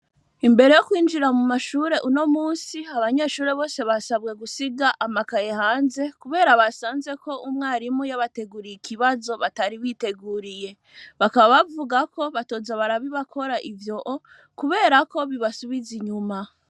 Imbere yo kwinjira mu mashure uno munsi abanyesure bose basabwe gusiga amakaye hanze kubera basanze umwarimu yabateguriye ikibazo batari biteguriye. Bakaba bavuga ko batoza barabibakora ivyo kubera ko bibasubiza inyuma.